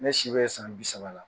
Ne si bɛ ye san bi saba la